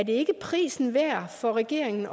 ikke prisen værd for regeringen